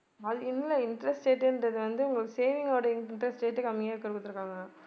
இல்ல interest rate ன்றது வந்து ஒரு saving ஒட interest rate கம்மியா குடுத்திருக்காங்க.